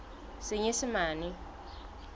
senyesemane